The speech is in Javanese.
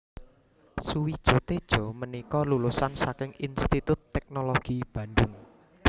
Sujiwo Tejo punika lulusan saking Institut Teknologi Bandung